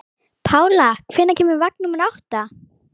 Pála, hvenær kemur vagn númer átta?